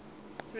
rand